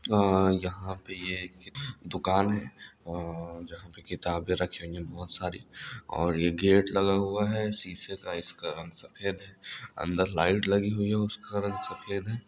आ यहाँ पे एक दुकान है और जहाँ पे किताबे रखेंगे बहुत सारी और एक गेट लगा हुआ है सीसे का इस कारन सफ़ेद है अंदर लाइट लगी हुई है उस कारन सफ़ेद है